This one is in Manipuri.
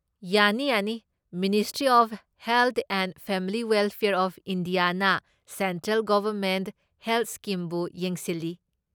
ꯌꯥꯅꯤ ꯌꯥꯅꯤ꯫ Ministry of health and family welfare of Indian central government health ꯁ꯭ꯀꯤꯝꯕꯨ ꯌꯦꯡꯁꯤꯜꯂꯤ꯫